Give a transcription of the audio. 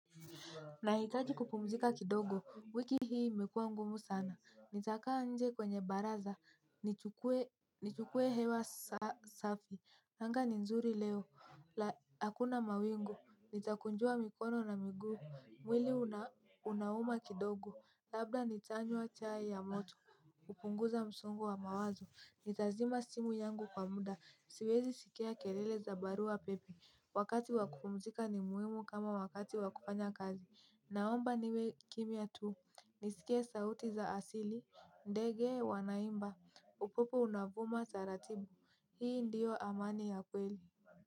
Nahitaji kupumzika kidogo wiki hii imekuwa ngumu sana, ntakaa nje kwenye baraza nichukue nichukue hewa safi, anga ni nzuri leo, hakuna mawingu, nitakunjuwa mikono na miguu, mwili unauma kidogo, labda nitanywa chai ya moto, kupunguza msongo wa mawazo, nitazima simu yangu kwa muda, siwezi sikia kelele za baruwa pepe, wakati wakupumzika ni muhimu kama wakati wakufanya kazi, naomba niwe kimya tu, nisikie sauti za asili, ndege wanaimba, upepo unavuma taratibu, hii ndiyo amani ya kweli.